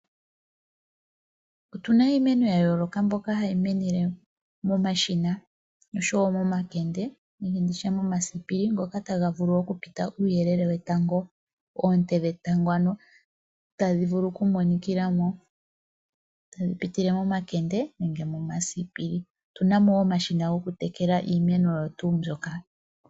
Opuna iimeno ya yooloka mbyoka hayi mene le momashina oshowo momakende nenge nditye momasipili ngoka taga vulu okupita uuyelele wetango, oonete dhetango ano tadhi vulu oku monikila mo tadhi vulu oku monikila mo momakende nenge momasipili. Otuna mo wo omashina go ku tekela iimeno.